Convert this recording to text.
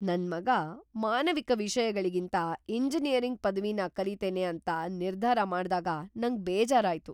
ನನ್ ಮಗ ಮಾನವಿಕ ವಿಷಯಗಳಿಗಿಂತ ಎಂಜಿನಿಯರಿಂಗ್ ಪದವಿನ ಕಲೀತೇನೆ ಅಂತ ನಿರ್ದಾರ ಮಾಡ್ದಾಗ ನಂಗ್ ಬೇಜಾರ್ ಆಯ್ತು.